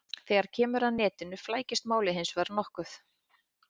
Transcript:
Þegar kemur að netinu flækist málið hins vegar nokkuð.